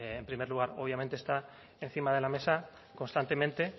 bueno en primer lugar obviamente está encima de la mesa constantemente